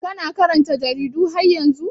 Kana karanta jaridu har yanzu?